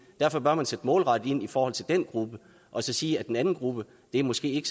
derfor bør man sætte målrettet ind i forhold til den gruppe og så sige at den anden gruppe måske